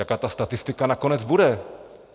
Jaká ta statistika nakonec bude?